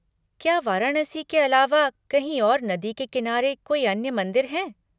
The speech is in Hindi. क्या वाराणसी के अलावा कहीं और नदी के किनारे कोई अन्य मंदिर हैं?